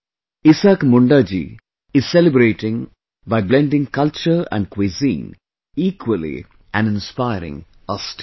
Isaak Munda ji is celebrating by blending culture and cuisine equally and inspiring us too